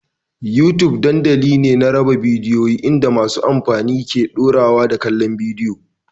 YouTube dandamali ne na raba bidiyo inda masu amfani ke ɗorawa da kallon bidiyo.